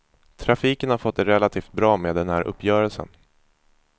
Trafiken har fått det relativt bra med den här uppgörelsen.